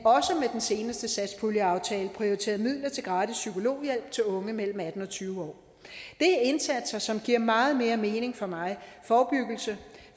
den seneste satspuljeaftale prioriterede midler til gratis psykologhjælp til unge mellem atten og tyve år det er indsatser som giver meget mere mening for mig forebyggelse